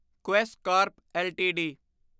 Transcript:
Quess corp LTD